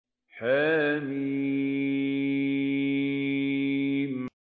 حم